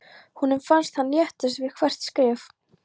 Honum fannst hann léttast við hvert skref.